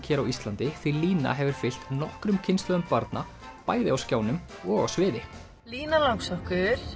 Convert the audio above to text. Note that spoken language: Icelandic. hér á Íslandi því Lína hefur fylgt nokkrum kynslóðum barna bæði á skjánum og á sviði lína langsokkur